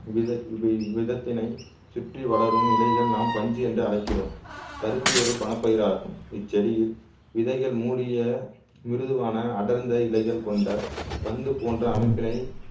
விதை வி விதத்தினை சுற்றி வளரும் இழைகள் நாம் பஞ்சு என்று அழைக்கிறோம் பருத்தி ஒரு பணப்பயிர் ஆகும் இச்செடியில் விதைகள் மூடிய மிருதுவான அடர்ந்த இலைகள் கொண்ட பந்து போன்ற அமைப்பினை